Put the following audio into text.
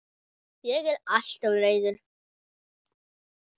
Ég er alltof reiður.